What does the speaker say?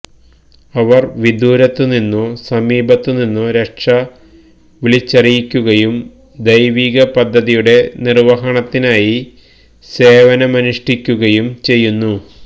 അവർ വിദൂരത്തു നിന്നോ സമീപത്തുനിന്നോ രക്ഷ വിളിച്ചറിയിക്കുകയും ദൈവിക പദ്ധതിയുടെ നിർവ്വഹണത്തിനായി സേവനമനുഷ്ഠിക്കുകയും ചെയ്യുന്നു